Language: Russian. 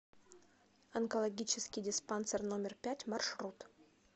онкологический диспансер номер пять маршрут